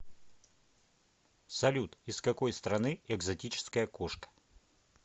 салют из какой страны экзотическая кошка